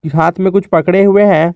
हाथ में कुछ पकड़े हुए हैं।